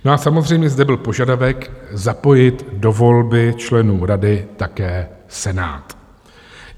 No a samozřejmě zde byl požadavek zapojit do volby členů rady také Senát.